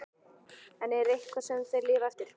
En er það eitthvað sem þeir lifa eftir?